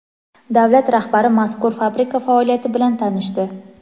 Davlat rahbari mazkur fabrika faoliyati bilan tanishdi.